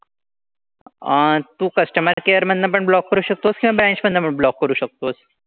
अह तू customer care मधनं पण block करू शकतोस किंवा branch मधनं पण block करू शकतोस.